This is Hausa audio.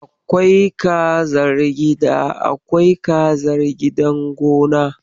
Akwai kazar gida, akwai kazar gidan gona.